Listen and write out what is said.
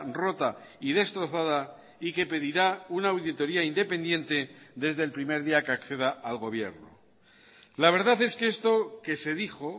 rota y destrozada y que pedirá una auditoría independiente desde el primer día que acceda al gobierno la verdad es que esto que se dijo